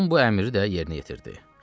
Tom bu əmri də yerinə yetirdi.